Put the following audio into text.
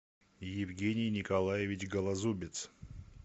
евгений николаевич голозубец